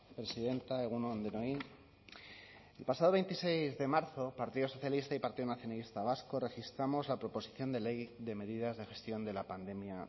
presidenta egun on denoi el pasado veintiséis de marzo partido socialista y partido nacionalista vasco registramos la proposición de ley de medidas de gestión de la pandemia